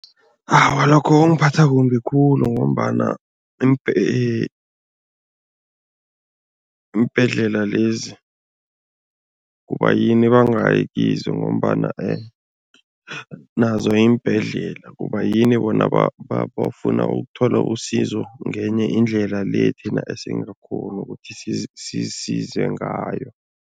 Awa, lokho kungiphatha kumbi khulu ngombana iimbhedlela lezi, kubayini bangayi kizo ngombana nazo yimbhedlela. Kubayini bona bafuna ukuthola usizo ngenye indlela le thina esingakghoni ukuthi sisize ngayo?